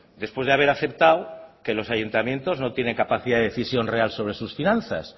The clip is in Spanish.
después de haber aceptado que los ayuntamientos no tienen capacidad de decisión real sobre sus finanzas